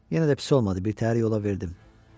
Yenə də pis olmadı, birtəhər yola verdim.